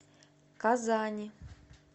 казани